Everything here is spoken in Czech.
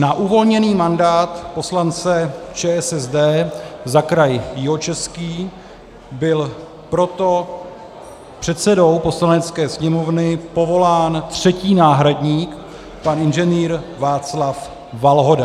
Na uvolněný mandát poslance ČSSD za kraj Jihočeský byl proto předsedou Poslanecké sněmovny povolán třetí náhradník pan inženýr Václav Valhoda.